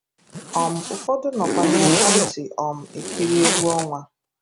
um Ụfọdụ nọkwu n'ekwentị um ekiri egwu ọnwa.